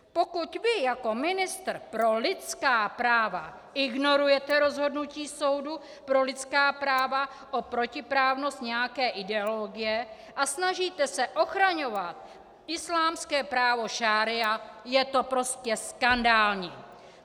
Pokud vy jako ministr pro lidská práva ignorujete rozhodnutí soudu pro lidská práva o protiprávnost nějaké ideologie a snažíte se ochraňovat islámské právo šaría, je to prostě skandální.